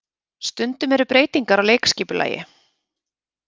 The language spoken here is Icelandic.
Stundum eru breytingar á leikskipulagi